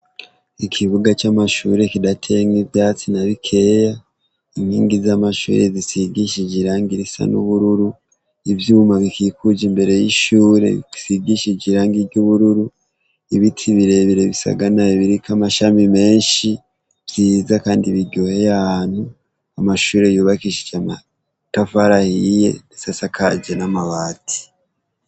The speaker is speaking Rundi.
Ikibuga c'amashure kidateyemwo ivyatsi na bikeya, inkingi z'amashure zisigishije irangi risa n'ubururu, ivyuma bikikuje imbere y'ishure risigishije irangi ry'ubururu, ibiti birebire bisagaraye biriko amashami menshi vyiza kandi biryoheye ahantu, amashure yubakishije amatafari ahiye ndetse asakaje n'amabati.